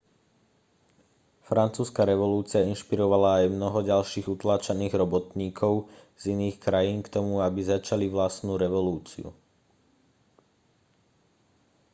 francúzska revolúcia inšpirovala aj mnoho ďalších utláčaných robotníkov z iných krajín k tomu aby začali vlastnú revolúciu